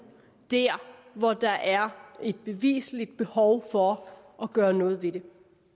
der hvor der er et bevisligt behov for at gøre noget ved det